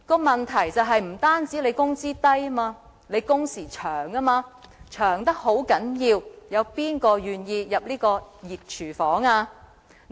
問題不僅在於工資低，還因為工時長得很厲害，試問誰願意走入這個熱廚房呢？